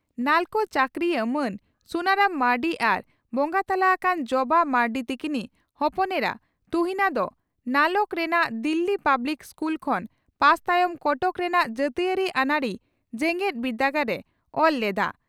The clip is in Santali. ᱱᱟᱞᱠᱳ ᱪᱟᱹᱠᱨᱤᱭᱟᱹ ᱢᱟᱱ ᱥᱩᱱᱟᱨᱟᱢ ᱢᱟᱨᱱᱰᱤ ᱟᱨ ᱵᱚᱸᱜᱟ ᱛᱟᱞᱟ ᱟᱠᱟᱱ ᱡᱚᱵᱟ ᱢᱟᱨᱱᱰᱤ ᱛᱤᱠᱤᱱᱤᱡ ᱦᱚᱯᱚᱱ ᱮᱨᱟ ᱛᱩᱦᱤᱱᱟ ᱫᱚ ᱱᱟᱞᱚᱠ ᱨᱮᱱᱟᱜ ᱫᱤᱞᱤ ᱯᱟᱵᱽᱞᱤᱠ ᱤᱥᱠᱩᱞ ᱠᱷᱚᱱ ᱯᱟᱥ ᱛᱟᱭᱚᱢ ᱠᱚᱴᱚᱠ ᱨᱮᱱᱟᱜ ᱡᱟᱹᱛᱤᱭᱟᱹᱨᱤ ᱟᱹᱱᱟᱹᱨᱤ ᱡᱮᱜᱮᱛ ᱵᱤᱨᱫᱟᱹᱜᱟᱲ ᱨᱮ ᱚᱞ ᱞᱮᱫᱼᱟ ᱾